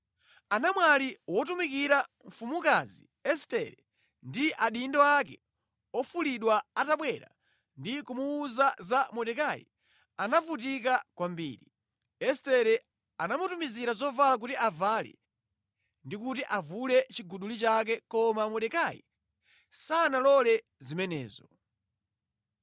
Anamwali otumikira mfumukazi Estere ndi adindo ake ofulidwa atabwera ndi kumuwuza za Mordekai, anavutika kwambiri. Estere anamutumizira zovala kuti avale ndi kuti avule chiguduli chake koma Mordekai sanalole zimenezo.